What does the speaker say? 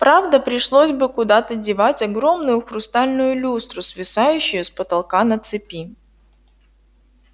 правда пришлось бы куда-то девать огромную хрустальную люстру свисающую с потолка на цепи